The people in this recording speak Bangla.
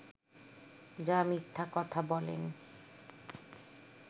যা মিথ্যা কথা বলেন